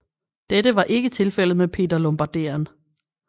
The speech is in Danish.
Dette var ikke tilfældet med Peter Lombarderen